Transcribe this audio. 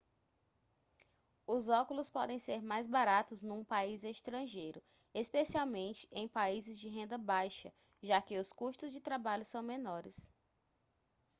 os óculos podem ser mais baratos num país estrangeiro especialmente em países de renda baixa já que os custos de trabalho são menores